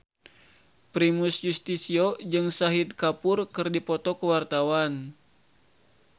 Primus Yustisio jeung Shahid Kapoor keur dipoto ku wartawan